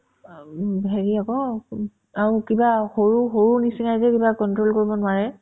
of হেৰি আকৌ ওব আকৌ কিবা সৰু সৰুৰ নিচিনাই যে কিবা control কৰিব নোৱাৰে